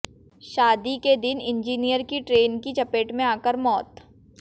शादी के दिन इंजीनियर की ट्रेन की चपेट में आकर मौत